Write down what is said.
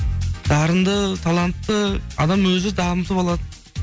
дарынды талантты адам өзін дамытып алады